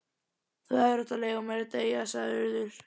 Þú hefðir átt að leyfa mér að deyja sagði Urður.